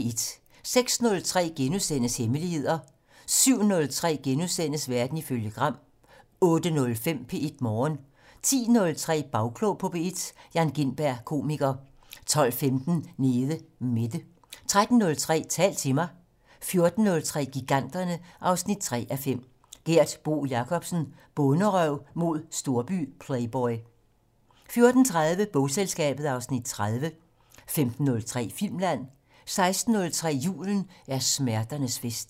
06:03: Hemmeligheder * 07:03: Verden ifølge Gram * 08:05: P1 Morgen 10:03: Bagklog på P1: Jan Gintberg, komiker 12:15: Nede Mette 13:03: Tal til mig 14:03: Giganterne 3:5 - Gert Bo Jacobsen: Bonderøv mod storby-playboy 14:30: Bogselskabet (Afs. 30) 15:03: Filmland 16:03: Julen er smerternes fest